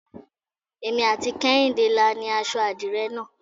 Èmi àti Kehinde la ni aṣọ adire náà.